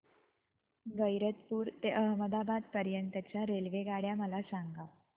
गैरतपुर ते अहमदाबाद पर्यंत च्या रेल्वेगाड्या मला सांगा